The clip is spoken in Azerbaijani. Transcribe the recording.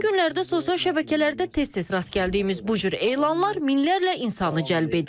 Son günlərdə sosial şəbəkələrdə tez-tez rast gəldiyimiz bu cür elanlar minlərlə insanı cəlb edir.